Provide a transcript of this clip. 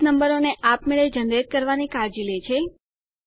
base નંબરોને આપમેળે generate કરાવવાંની કાળજી લે છે